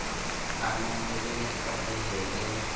hanang le be le tlalehele